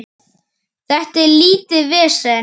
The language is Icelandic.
Þetta er lítið vesen.